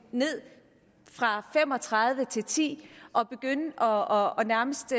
fra fem og tredive til ti og nærmest